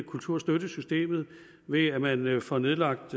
kulturstøttesystemet ved at man man får nedlagt